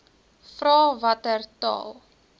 vra watter taal